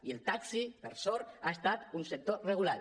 i el taxi per sort ha estat un sector regulat